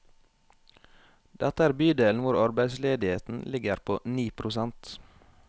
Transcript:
Dette er bydelen hvor arbeidsledigheten ligger på ni prosent.